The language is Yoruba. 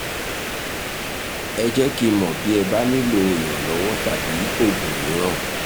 ẹ jẹ́ kí n mọ̀ bí ẹ bá nílò ìrànlọ́wọ́ tàbí oògùn mìíràn